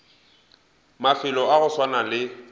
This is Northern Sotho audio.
mafelo a go swana le